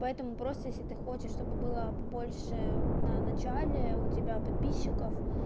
поэтому просто если ты хочешь чтобы было побольше ну начальное у тебя подписчиков